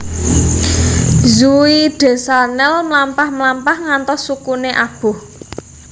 Zooey Deschanel mlampah mlampah ngantos sukune aboh